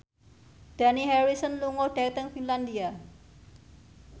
Dani Harrison lunga dhateng Finlandia